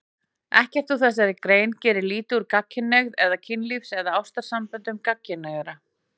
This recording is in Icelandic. Ekkert í þessari grein gerir lítið úr gagnkynhneigð eða kynlífs- og ástarsamböndum gagnkynhneigðra.